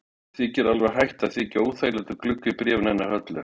Mér var alveg hætt að þykja óþægilegt að glugga í bréfin hennar Höllu.